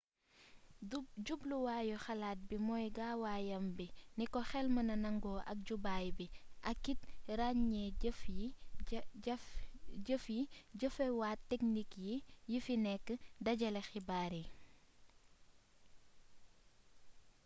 jubluwaayu xalaat bii mooy gaawaayam bi niko xel mënee nangu ak jubaay bi akit raññee jëf yi jëfewaat teknik yi fi nekk dajale xibaar yi